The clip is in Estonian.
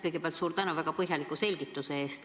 Kõigepealt suur tänu väga põhjaliku selgituse eest!